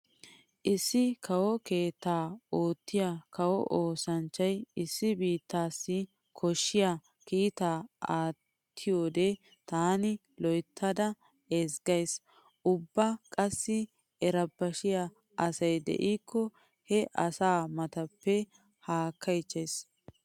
Issi kawo keettan oottiya kawo oosanchchay issi biittaassi koshshiya kiitaa aattiyode taani loyttada ezggays. Ubba qassi erebashiya asi diikko he asa matappe haakkaychchays.